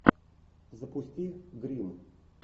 запусти гримм